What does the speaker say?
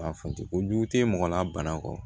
A fote kojugu tɛ mɔgɔ la bana kɔ